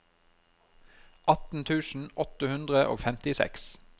atten tusen åtte hundre og femtiseks